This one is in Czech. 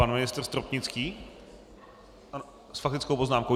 Pan ministr Stropnický s faktickou poznámkou.